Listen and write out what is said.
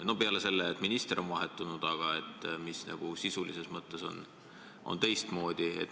Mis on peale selle, et minister on vahetunud, nüüd teistmoodi?